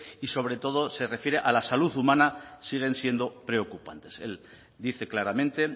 y sobre todo se refiere a la salud humana siguen siendo preocupantes él dice claramente